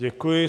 Děkuji.